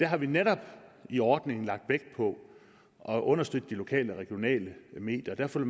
har vi netop i ordningen lagt vægt på at understøtte de lokale og regionale medier og derfor